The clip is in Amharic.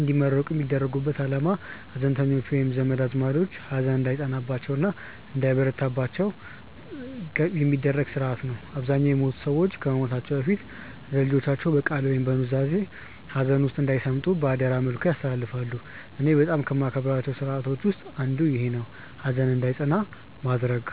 እንዲመረቁ የሚያደርጉበት አላማ ሀዘንተኞቹ ወይም ዘመድ አዝማዶቹ ሀዘን እንዳይጸናባቸው እና እንዳይበረታባቸው የሚደረግበት ስርአት ነው። አብዛኛውን የሞቱት ሰዎች ከመሞታቸው በፊት ለልጆቻቸው በቃል ወይም በኑዛዜ ሀዘን ውስጥ እንዳይሰምጡ በአደራ መልክ ያስተላልፋሉ። እኔ በጣም ከማከብራቸው ስርአቶች ውስጥ አንዱ ይኼ ነው፣ ሀዘን እንዳይጸና ማድረግ።